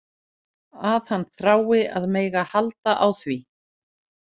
Að hann þrái að mega halda á því.